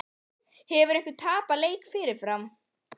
Hefur einhver tapað leik fyrirfram?